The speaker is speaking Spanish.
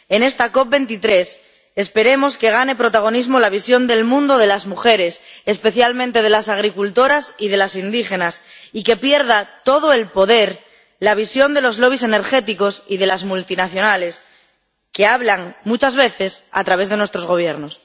En esta COP23 esperemos que gane protagonismo la visión del mundo de las mujeres, especialmente de las agricultoras y de las indígenas, y que pierda todo el poder la visión de los lobbies energéticos y de las multinacionales, que hablan, muchas veces, a través de nuestros gobiernos.